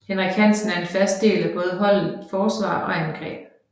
Henrik Hansen er en fast del af både holdet forsvar og angreb